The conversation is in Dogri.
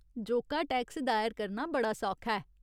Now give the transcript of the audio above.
जोका टैक्स दायर करना बड़ा सौखा ऐ।